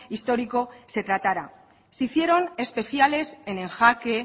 histórico se tratara se hicieron especiales en en jake